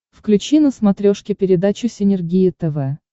включи на смотрешке передачу синергия тв